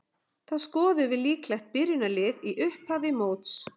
Þá skoðum við líklegt byrjunarlið í upphafi móts.